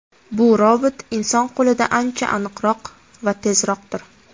Bu robot inson qo‘lidan ancha aniqroq va tezroqdir.